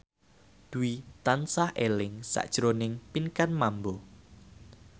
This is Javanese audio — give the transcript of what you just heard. Dwi tansah eling sakjroning Pinkan Mambo